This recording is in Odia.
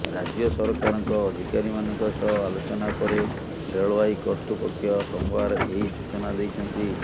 ରାଜ୍ୟ ସରକାରଙ୍କ ଅଧିକାରୀମାନଙ୍କ ସହ ଆଲୋଚନା ପରେ ରେଳବାଇ କର୍ତ୍ତୃପକ୍ଷ ସୋମବାର ଏହି ସୂଚନା ଦେଇଛନ୍ତି